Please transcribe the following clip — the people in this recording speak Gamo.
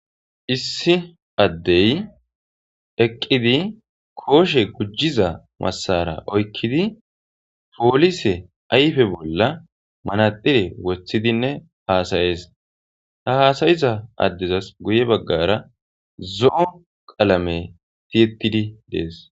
Issi addey eqqidi kooshe gujjiza massara oykkidi poolise ayfe bolla manadire wothidinne haasayees ha haasayiza addezas guye baggara zo7o qalame tiyettidi dees